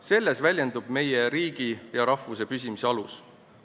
Selles väljendub meie riigi ja rahvuse püsimise alus.